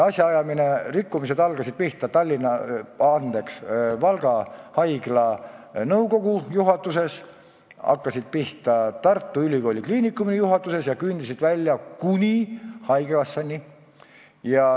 Asjaajamiskorra rikkumised algasid Valga Haigla nõukogu juhatuses, hakkasid pihta Tartu Ülikooli Kliinikumi juhatuses ja jõudsid välja kuni haigekassani.